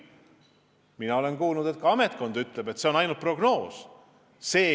Mina olen kuulnud, et ka ametkond märgib, et see on ainult prognoos.